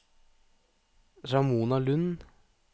Ramona Lund